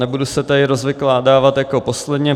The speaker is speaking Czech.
Nebudu se tady rozvykládávat jako posledně.